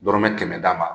Dɔrɔmɛ kɛmɛ d'a ma